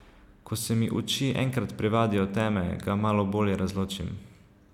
Ko se mi oči enkrat privadijo teme, ga malo bolje razločim.